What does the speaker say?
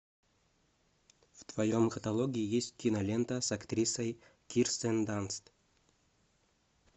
в твоем каталоге есть кинолента с актрисой кирстен данст